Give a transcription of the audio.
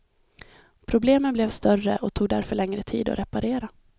Problemen blev större och tog därför längre tid att reparera.